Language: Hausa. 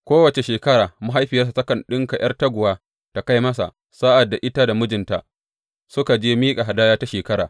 Kowace shekara mahaifiyarsa takan ɗinka ’yar taguwa ta kai masa sa’ad da ita da mijinta suka je miƙa hadaya ta shekara.